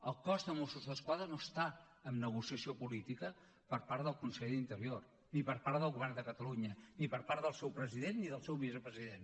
el cos de mossos d’esquadra no està en negociació política per part del conseller d’interior ni per part del govern de catalunya ni per part del seu president ni del seu vicepresident